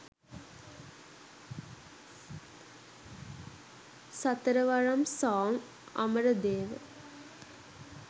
satharawaram song amaradewa